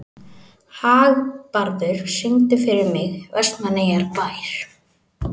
Hagbarður, syngdu fyrir mig „Vestmannaeyjabær“.